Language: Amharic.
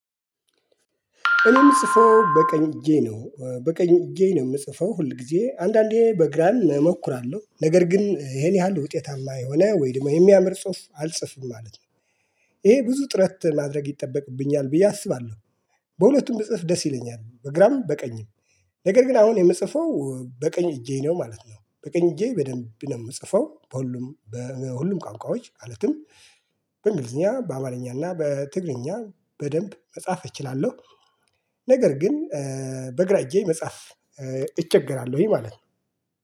እኔ ምጽፈው በቀኝ እጄ ነው በቀኝ እጄ ነው የምጽፈው ሁል ጊዜ አንዳንዴ በግራ እሞክራለሁ ነገር ግን ይሄን ያህል ውጤታማ የሆነ ወይም የሚያምር ጽሁፍ አልጽፍም ማለት ነው። ይሄ ብዙ ጥረት ማድረግ ይጠበቅብኛል ብዬ አስባለሁ። በሁለቱም ብጽፍ ደስ ይለኛል በግራም በቀኝም። ነገር ግን አሁን የምጽፈው በቀኝ እጄ ነው ማለት ነው። በቀኝ እጄ በደንብ ነው የምጽፈው በሁሉም በሁሉም ቋንቋዎች ማለትም። በእንግሊዝኛ በአማልኛ እና በትግርኛ በደንብ መጻፍ እችላለሁ። ነገር ግን በግራዬ መጻፍ እቸገራለሁኝ ማለት ነው።